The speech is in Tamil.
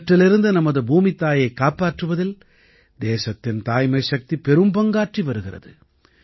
இவற்றிலிருந்து நமது பூமித்தாயைக் காப்பாற்றுவதில் தேசத்தின் தாய்மைசக்தி பெரும்பங்காற்றி வருகிறது